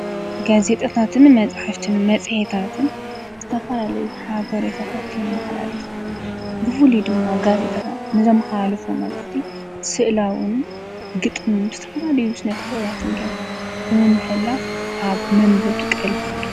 ጋዜጣታትን፣ መፅሒፍትን መፅሔታትን ዝተፋላለዩ ሓበርየታታ የመሓላለፍ። ብፉሉይ ድማ ጋዜ ጠታት ንዘመሓላልፍዎ መልእኽቲ ስእላዉን ግጥምን ብዝተፈላለዩ ስነ ጥበባት ጌሩ ብምምሕላፍ ኣብ መንበብቱ ቐልቢ ይፈቱ።